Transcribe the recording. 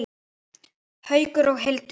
Haukur og Hildur.